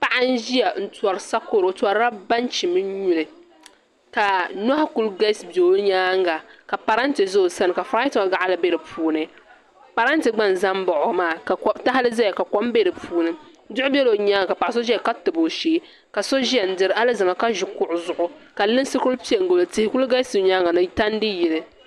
Paɣa n ʒiya n tori sakoro o torila banchi mini nyuli ka nohi kuli kalisi bɛ o nyaanga ka parantɛ ʒɛ o sani ka furaayton gaɣili bɛ di puuni parantɛ gba n ʒɛ baɣo maa ka tahali ʒɛya ka kom bɛ di puuni duw ʒɛla o nyaanga ka paɣaso ʒɛya ka tabi o shee ka so ʒiya n diri Alizama ka ʒi kuɣu zuɣu ka linsi kuli pɛ n gilo tihi n kuli galisi o nyaanga ni tandi yili